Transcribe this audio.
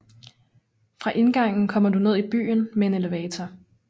Fra indgangen kommer du ned i byen med en elevator